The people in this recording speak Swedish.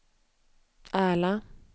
Ärla